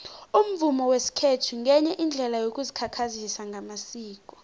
umvumo wesikhethu ngenye yeendlela yokuzikhakhazisa ngamasiko